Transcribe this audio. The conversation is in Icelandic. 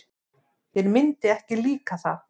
Þér myndi ekki líka það.